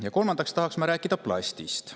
Ja kolmandaks tahaks rääkida plastist.